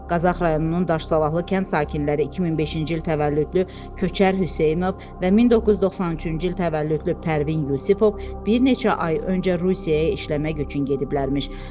Qazax rayonunun Daş Salahlı kənd sakinləri 2005-ci il təvəllüdlü Köçər Hüseynov və 1993-cü il təvəllüdlü Pərvin Yusifov bir neçə ay öncə Rusiyaya işləmək üçün gediblərmiş.